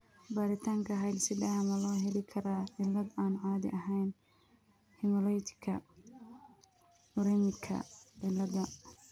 Baaritaanka hidde-sidaha ma loo heli karaa cillad aan caadi ahayn hemolyticka uremicka ciladha?